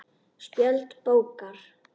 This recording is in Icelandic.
Spjöld bókar